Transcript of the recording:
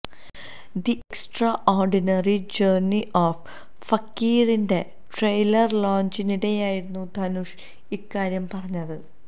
the extraordinary journey of ഫക്കീറിന്റെ trailer ലോഞ്ചിനിടെയായിരുന്നു ധനുഷ് ഇക്കാര്യം പറഞ്ഞത്